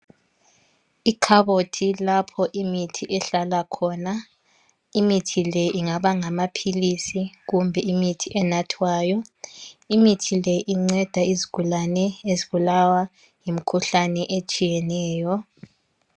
Ikhabothi lapho imithi ehlala khona. Imithi le ingaba ngamaphilisi kumbe imithi enathwayo. Imithi le inceda izigulani ezibulawa yimikhuhlane etshiyeneyo.